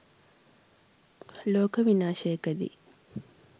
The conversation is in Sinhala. ලෝක විනාශයකදී